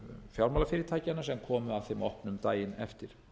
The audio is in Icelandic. fjármálafyrirtækjanna sem komu að þeim opnum daginn eftir